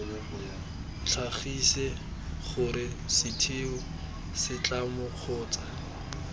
tlhagise gore setheo setlamo kgotsa